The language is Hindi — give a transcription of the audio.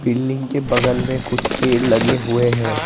बिल्डिंग के बगल में कुछ पेड़ लगे हुए हैं।